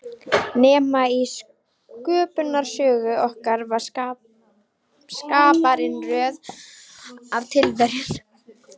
Nema í Sköpunarsögu okkar var Skaparinn röð af tilviljunum.